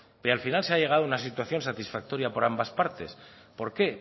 pero al final se ha llegado a una situación satisfactoria por ambas partes por qué